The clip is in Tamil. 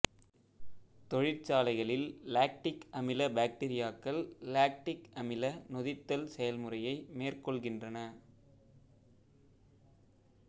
தொழிற்சாலைகளில் லாக்டிக் அமில பாக்டிரியாக்கள் லாக்டிக் அமில நொதித்தல் செயல்முறையை மேற்கொள்கின்றன